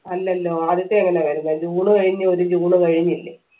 അല്ലല്ലോ ആദ്യത്തെ എങ്ങനെ വരുന്നേ ജൂൺ കഴിഞ്ഞ് ഒരു ജൂൺ കഴിഞ്ഞില്ലേ